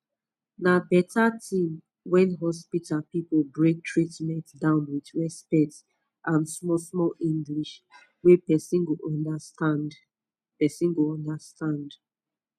na better thing when hospital people break treatment down with respect and smallsmall english wey person go understand person go understand